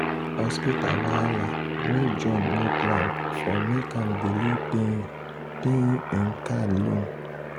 hospital wahala wey john no plan for make am delay paying paying him card loan.